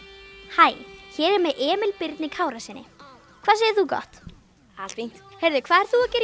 hæ hér er ég með Emil Birni Kárasyni hvað segir þú gott allt fínt hvað ert þú að gera